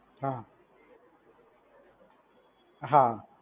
હા, હા.